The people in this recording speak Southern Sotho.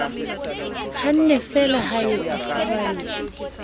hannefeela ha eo a furalla